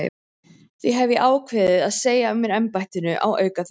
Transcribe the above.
Því hef ég ákveðið að segja af mér embættinu á aukaþingi.